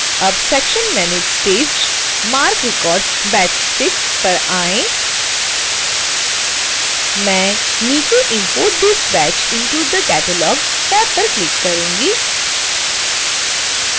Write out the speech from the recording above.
अब section manage staged marc records batch 6 पर आएँ मैं नीचे import this batch into the catalog tab पर क्लिक करूंगी